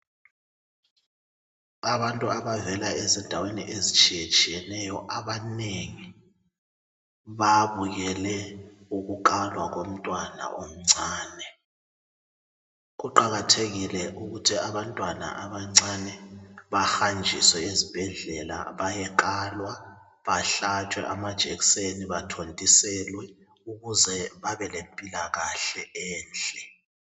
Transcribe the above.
Abantu abavela ezindaweni ezitshiyatshiyeneyo abanengi babukele ukukalwa komntwana omncane. Kuqakathekile ukuthi abantwana abancane bahanjiswe ezibhedlel bayekalwa, bahlatshwe amajekiseni, bathontiselwe ukuze babelempilakahle enhle